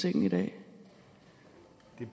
ikke at